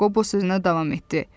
Qobo sözünə davam etdi.